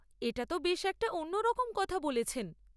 এটা তো বেশ একটা অন্যরকম কথা বলেছেন।